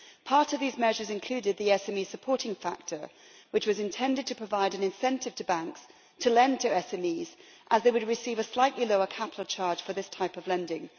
Part of these measures included the SME supporting factor, which was intended to provide an incentive to banks to lend to SMEs as they would receive a slightly lower capital charge for this type of lending.